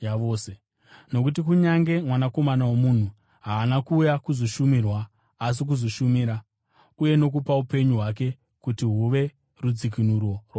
Nokuti kunyange Mwanakomana woMunhu haana kuuya kuzoshumirwa, asi kuzoshumira uye nokupa upenyu hwake kuti huve rudzikinuro rwavazhinji.”